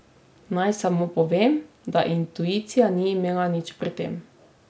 Naj samo povem, da intuicija ni imela nič pri tem.